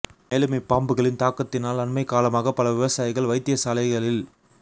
மேலும் இப் பாம்புகளின் தாக்கத்தினால் அண்மைக் காலமாக பல விவசாயிகள் வைத்தியசாலைகளில்